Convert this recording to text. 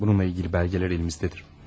Bununla ilgili belgeler elimizdedir.